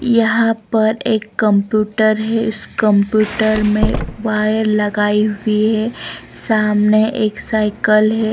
यहाँ पर एक कंप्यूटर है इस कंप्यूटर में वायर लगाई हुई है सामने एक साइकिल है।